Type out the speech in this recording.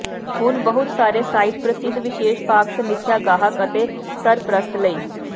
ਹੁਣ ਬਹੁਤ ਸਾਰੇ ਸਾਈਟ ਪ੍ਰਸਿੱਧ ਵਿਸ਼ੇਸ਼ ਭਾਗ ਸਮੀਖਿਆ ਗਾਹਕ ਅਤੇ ਸਰਪ੍ਰਸਤ ਲਈ